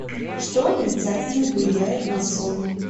что отрицательно влияет на сон